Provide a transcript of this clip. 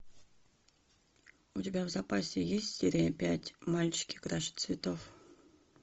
у тебя в запасе есть серия пять мальчики краше цветов